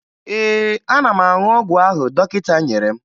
Ee, ana m aṅụ ọgwụ ahụ dọkịta nyere m